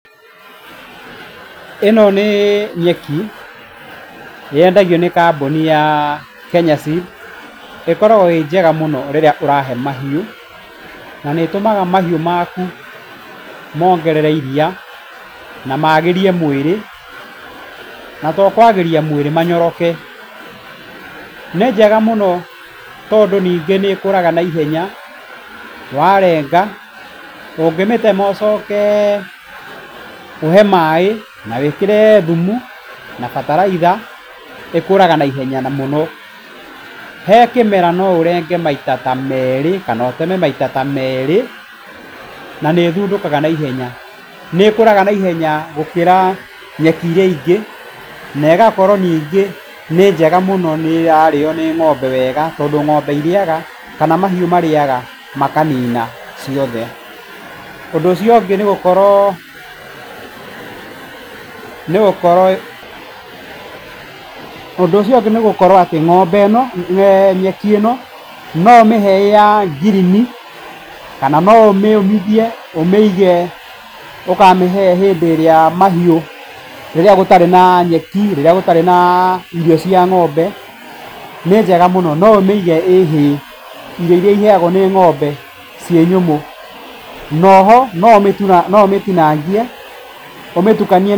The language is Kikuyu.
Ĩno nĩ nyeki, nĩ yendagio nĩ kambuni ya Kenya Seed. ĩkoragwo ĩ njega mũno rĩrĩa ũrahe mahiũ na nĩ ĩtũmaga mahiũ maku mongerere iria, na magĩrie mwĩrĩ, na to kũagĩria mwĩrĩ, manyoroke. Nĩ njega mũno tondũ ningĩ nĩ ĩkũraga naiheya, warenga, ũngĩmĩtema ũcoke ũhe maĩ na wĩkĩre thumu na bataraitha, ĩkũraga naihenya mũno. He kĩmera no ũrenge maita ta merĩ kana ũteme maita ta merĩ, na nĩ ĩthundũkaga naihenya. Nĩkũraga naihenya gũkĩra nyeki iria ingĩ na ĩgakorwo ningĩ nĩ njega mũno nĩ ĩrarĩo nĩ ng'ombe wega, tondũ ng'ombe irĩaga kana mahiũ marĩaga makanina ciothe. Ũndũ ũcio ũngĩ nĩgũkorwo, ũndũ ũcio ũngĩ nĩ gũkorwo atĩ ng'ombe ĩno nyeki ĩno no ũmĩhe ĩrĩ ya ngirini kana no ũmĩũmithie, ũmĩige ũkamĩhe hĩndĩ ĩrĩa mahiũ, rĩrĩa gũtarĩ na nyeki, rĩrĩa gũtarĩ na irio cia ng'ombe, nĩ njega mũno. No ũmĩige ĩ hay, irio iria iheagwo nĩ ng'ombe ciĩ nyũmũ. Noho, no ũmĩtinangie ũmĩtukanie.